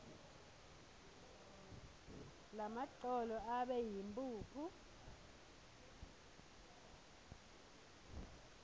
lamagcolo abe yimphuphu